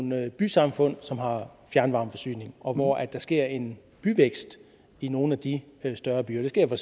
nogle bysamfund som har en fjernvarmeforsyning og hvor der sker en byvækst i nogle af de større byer det sker for